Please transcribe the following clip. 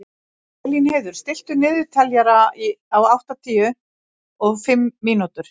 Elínheiður, stilltu niðurteljara á áttatíu og fimm mínútur.